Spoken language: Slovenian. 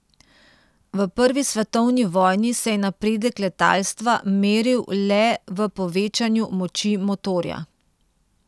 V prvi svetovni vojni se je napredek letalstva meril le v povečanju moči motorja.